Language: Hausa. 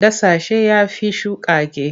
Dasasshe ya fi shukakke.